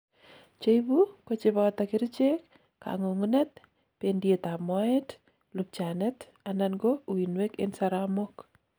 cheibu kocheboto kerichek, kangungunet, bendiet ab moet, lubchanet anan ko uinwek en saromok